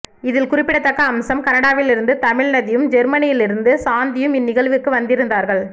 இதில் குறிப்பிடத்தக்க அம்சம் கனடாவிலிருந்து தமிழ்நதியும் ஜெர்மனியிலிருந்து சாந்தியும் இந் நிகழ்வுக்கு வந்திருந்தார்கள்